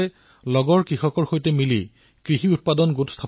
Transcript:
আজি গাঁৱৰ কৃষকে ছুইট কৰ্ণ আৰু বেবী কৰ্ণৰ খেতি কৰে